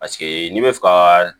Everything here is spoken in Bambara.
Paseke n'i bɛ fɛ ka